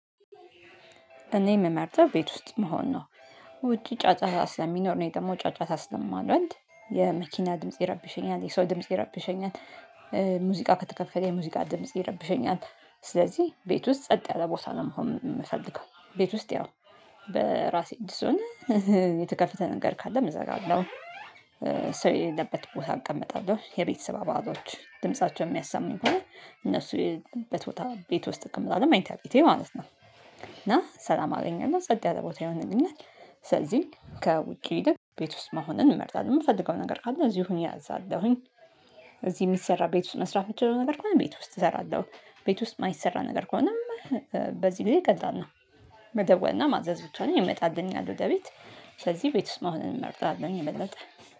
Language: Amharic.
እኔ የምመርጠው ቤት ውስጥ መሆን ነው። ውጪ ጫጫታ ስለሚኖር ነው እኔ ደግሞ ጫጫታ ስለማልወድ የመኪና ድምጽ ይረብሸኛል የሰው ድምጽ ይረብሸኛል። ሙዚቃ ከተከፈተ የሙዚቃ ድምጽ ይረብሸኛል። ስለዚህ ቤት ውስጥ ጸጥ ያለ ቦታ ነው መሆን የምፈልገው። ቤት ውስጥ ያው በራሴ እጅ ስሆን የተከፈተ ነገር ካለ እዘጋለሁ። ሰው የሌለበት ቦታ እቀመጣለሁ የቤተሰብ አባሎች ድምፃቸውን የሚያሳሙኝ ከሆነ እነሱ በመኝታ ቤት ውስጥ እቀመጣለሁ ደግሞ መኝታ ቤቴ ማለት ነው። እና ሰላም አገኘና ጸጥ ያለ ቦታ ይሆንልኛል። ስለዚህ ከውጪ ይልቅ ቤት ውስጥ መሆንን እንመርጣለን የምፈልገው ነገር ካለ እዚህ ሁኚ አዛለሁኝ። እዚህ የሚሰራ ቤት ውስጥ መስራት የምችለው ነገር ከሆነ ቤት ውስጥ እሰራለሁ። ቤት ውስጥ የማይሰራ ነገር ከሆነም በዚህ ጊዜ ላል ነው። መደወልና ማዘዝ ብቻ ነው ይመጣልኛል ወደ ቤት። ስለዚህ ቤት ውስጥ መሆንን እንመርጣለሁኝ የበለጠ